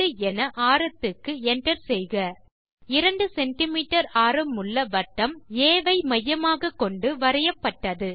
மதிப்பு 2 என ஆரத்துக்கு enter செய்க ஓகே செய்க 2சிஎம் ஆரமுள்ள வட்டம் ஆ ஐ மையமாக கொண்டு வரையப்பட்டது